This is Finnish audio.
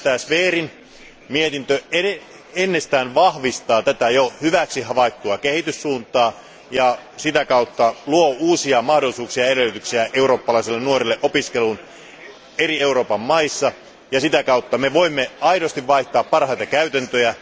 Zverin mietintö entisestään vahvistaa tätä jo hyväksi havaittua kehityssuuntaa ja luo uusia mahdollisuuksia ja edellytyksiä eurooppalaisille nuorille opiskeluun eri Euroopan maissa, ja sitä kautta me voimme aidosti vaihtaa parhaita käytäntöjä.